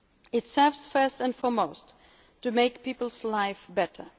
is about values. It serves, first and foremost, to make people's